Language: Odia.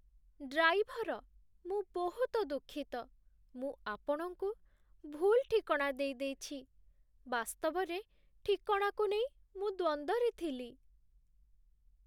ଡ୍ରାଇଭର! ମୁଁ ବହୁତ ଦୁଃଖିତ, ମୁଁ ଆପଣଙ୍କୁ ଭୁଲ୍ ଠିକଣା ଦେଇଦେଇଛି। ବାସ୍ତବରେ, ଠିକଣାକୁ ନେଇ ମୁଁ ଦ୍ୱନ୍ଦ୍ୱରେ ଥିଲି।